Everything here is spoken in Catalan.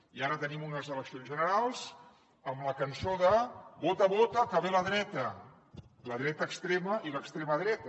i ara tenim unes eleccions generals amb la cançó de vota vota que ve la dreta la dreta extrema i l’extrema dreta